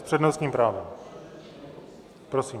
S přednostním právem, prosím.